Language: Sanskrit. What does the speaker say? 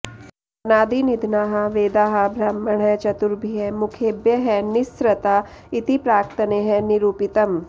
अनादिनिधनाः वेदाः ब्रह्मणः चतुर्भ्य मुखेभ्यः निःस्सृता इति प्राक्तनैः निरूपितम्